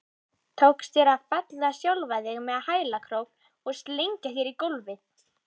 Tókst þér að fella sjálfan þig með hælkrók og slengja þér í gólfið?